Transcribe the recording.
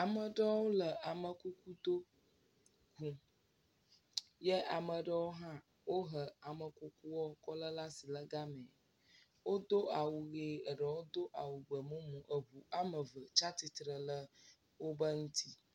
Ame ɖewo le amekuku do ʋum. ye ame ɖewo hã wohe amekukuɔ kɔle la si le gamɛ. Wodo awu ɣe. Eɖewo do awu gbemumu. Eʋu ame ve tsa titre le wobe ŋuti.